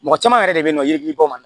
Mɔgɔ caman yɛrɛ de be yen nɔ yirikiri bɔ ma